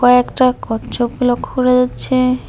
কয়েকটা কচ্ছপ লক্ষ্য করা যাচ্ছে।